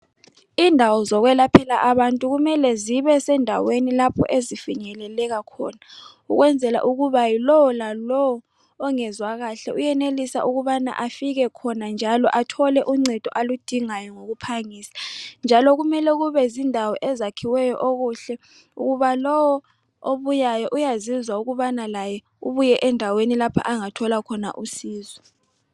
Indawo zokwelaphela abantu kumele zibesendaweni lapho ezifinyeleka khona ukwenzela ukubana yilo lalowo ongezwa kahle uyenelisa ukubana afike khona njalo athole uncedo aludingayo ngokuphangisa njalo kumele kube zindawo ezakhiweyo okuhle okuba lowo obuyayo uyazizwa ukubana laye ubuye endaweni lapho angathola khona usizo.